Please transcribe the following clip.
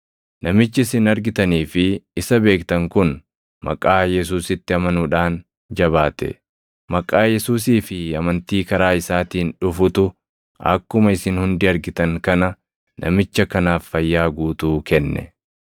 Namichi isin argitanii fi isa beektan kun maqaa Yesuusitti amanuudhaan jabaate. Maqaa Yesuusii fi amantii karaa isaatiin dhufutu akkuma isin hundi argitan kana namicha kanaaf fayyaa guutuu kenne.